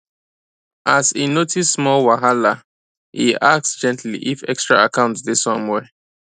as e notice small whahalae ask gently if extra account day somewhere